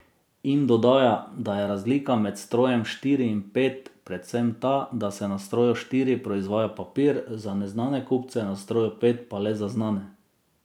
In dodaja, da je razlika med strojem štiri in pet predvsem ta, da se na stroju štiri proizvaja papir za neznane kupce, na stroju pet pa le za znane.